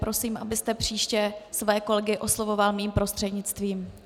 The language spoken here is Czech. Prosím, abyste příště své kolegy oslovoval mým prostřednictvím.